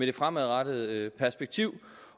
det fremadrettede perspektiv